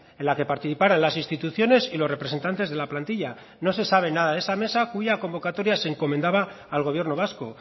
en la que participaran las instituciones y los representantes de la plantilla no se sabe nada de esa mesa cuya convocatoria se encomendaba al gobierno vasco